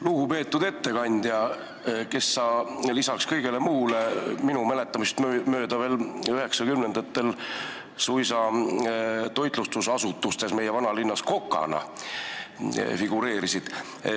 Lugupeetud ettekandja, kes sa lisaks kõigele muule minu mäletamist mööda veel üheksakümnendatel suisa meie vanalinnas toitlustusasutustes kokana figureerisid.